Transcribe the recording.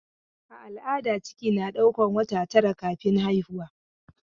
A al'ada ciki na ɗaukan wata tara kafin haihuwa.